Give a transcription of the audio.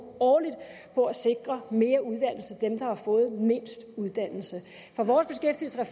årligt på at sikre mere uddannelse til dem der har fået mindst uddannelse